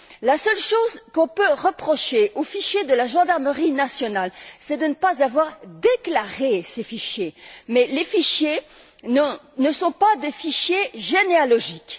La seule chose qu'on peut reprocher au fichier de la gendarmerie nationale, c'est de ne pas avoir déclaré ces fichiers, mais les fichiers ne sont pas des fichiers généalogiques.